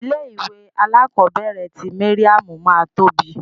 Ilé ìwé alakobere ti Mariam ma tóbi.